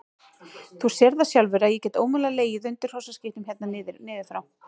Þú sérð það sjálfur að ég get ómögulega legið undir hrossaskítnum hérna niður frá.